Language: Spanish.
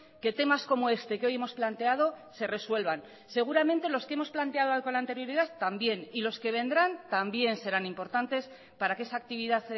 que temas como este que hoy hemos planteado se resuelvan seguramente los que hemos planteado con anterioridad también y los que vendrán también serán importantes para que esa actividad